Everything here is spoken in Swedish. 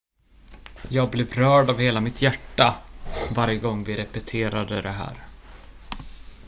jag blev rörd av hela mitt hjärta varje gång vi repeterade det här